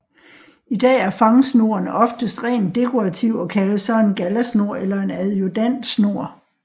I dag er er fangsnoren oftest rent dekorativ og kaldes så en gallasnor eller en adjudantsnor